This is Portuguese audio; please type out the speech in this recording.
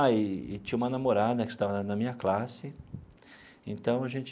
Ah, e e tinha uma namorada que estava na minha classe, então a gente...